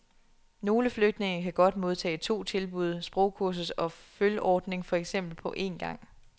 Nogle flygtninge kan godt modtage to tilbud, sprogkursus og følordning for eksempel, på en gang.